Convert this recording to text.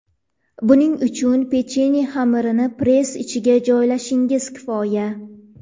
Buning uchun pechenye xamirini press ichiga joylashingiz kifoya!